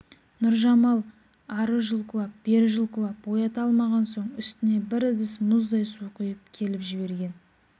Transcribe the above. нұржамал ары жұлқылап бер жұлқылап оята алмаған соң үстіне бір ыдыс мұздай су құйып келіп жіберген